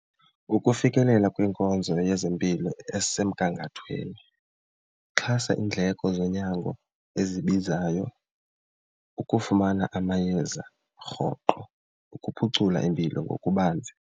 Ukufikelela kwiinkonzo yezempilo ezisemgangathweni, xhasa iindleko zonyango ezibizayo, ukufumana amayeza rhoqo ukuphucula impilo ngokubanzi.